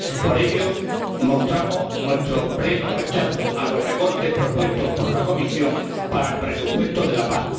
Por ello, mostramos nuestro pleno rechazo a los recortes propuestos por la Comisión para el presupuesto de la PAC.